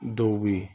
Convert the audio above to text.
Dɔw bɛ yen